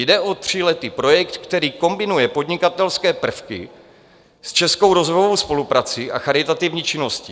Jde o tříletý projekt, který kombinuje podnikatelské prvky s českou rozvojovou spoluprací a charitativní činností.